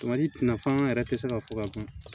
nafan yɛrɛ tɛ se ka fɔ ka ban